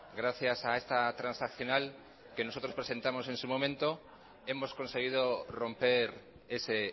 gracias a esta transaccional que nosotros presentamos en su momento hemos conseguido romper ese